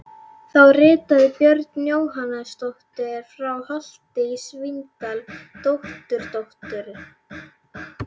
Þá ritaði Björg Jóhannsdóttir frá Holti í Svínadal, dótturdóttir